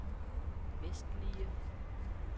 vestlige